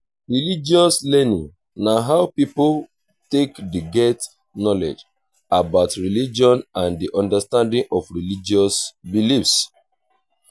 religious learning na how pipo take dey get knowlege about religion and di understanding of religious beliefs